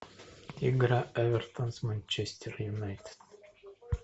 игра эвертон с манчестер юнайтед